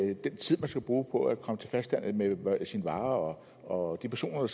er den tid man skal bruge på at komme til fastlandet med sine varer og de personer